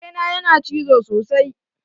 Kare na yana cizo sosai